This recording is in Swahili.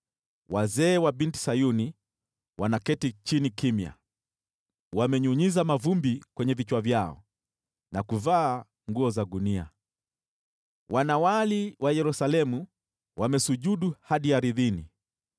Wazee wa Binti Sayuni wanaketi chini kimya, wamenyunyiza mavumbi kwenye vichwa vyao na kuvaa nguo za gunia. Wanawali wa Yerusalemu wamesujudu hadi ardhini.